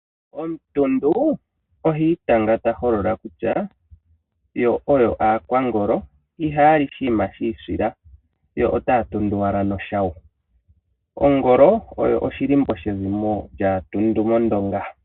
Omuntundu ihi tanga ta holola kutya yo oyo aakwangolo ihaya li oshinima shiisila yo otaya tundu owala noshayo. Ongolo oyo oshilimbo she zimo lyaantundu mondonga..